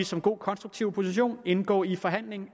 som god konstruktiv opposition indgå i forhandling